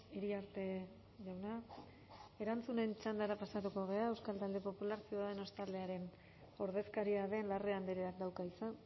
iriarte jauna erantzunen txandara pasatuko gara euskal talde popular ciudadanos taldearen ordezkaria den larrea andreak dauka hitza